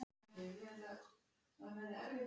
Ég er orðin svo þreytt.